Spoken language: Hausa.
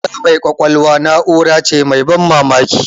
Na'ura mai kwakwalwa na'ura ce mai ban mamaki.